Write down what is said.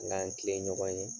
An k'an tilen ɲɔgɔn ye.